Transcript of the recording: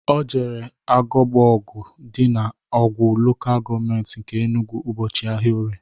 O jere Agbogugu dị na Awgu Lokal Gọọmenti nke Enugwu ụbọchị ahịa orie